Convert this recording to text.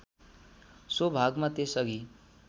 so भागमा त्यसअघि